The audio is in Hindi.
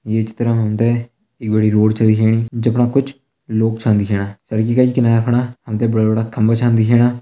ये चित्र मा हम त एक बड़ी रोड छ दिखेणी जख मा कुछ लोग छ दिखेणा। सड़की किनारा फुना बड़ा बड़ा खंबा छ दिखेणा।